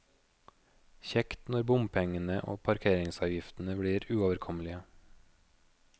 Kjekt når bompengene og parkeringsavgiftene blir uoverkommelige.